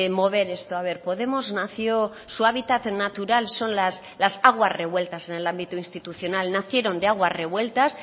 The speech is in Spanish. mover esto a ver podemos nació su hábitat natural son las aguas revueltas en el ámbito institucional nacieron de aguas revueltas